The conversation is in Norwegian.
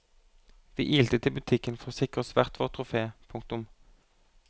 Vi ilte til butikken for å sikre oss hvert vårt trofé. punktum